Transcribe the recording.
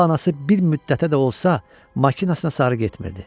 Onda anası bir müddətə də olsa maşınına sarı getmirdi.